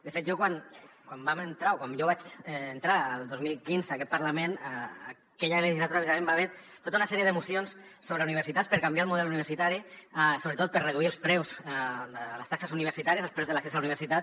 de fet jo quan vam entrar o quan jo vaig entrar el dos mil quinze a aquest parlament aquella legislatura precisament hi va haver tota una sèrie de mocions sobre universitats per canviar el model universitari sobretot per reduir els preus de les taxes universitàries els preus de l’accés a la universitat